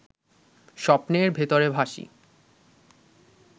স্বপ্নের ভেতরে ভাসি